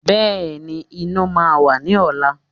Bẹ́ẹ̀ni, iná máa wà ní ọ̀la